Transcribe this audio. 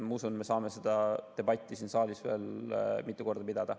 Ma usun, et me saame seda debatti siin saalis veel mitu korda pidada.